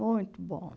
Muito bom.